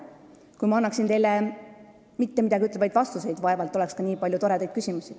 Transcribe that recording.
Kui ma annaksin teile mittemidagiütlevaid vastuseid, vaevalt siis oleks ka nii palju toredaid küsimusi.